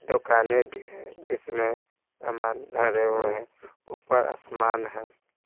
दुकाने जिसमें सामान धरे हुए हैं ऊपर आसमान है।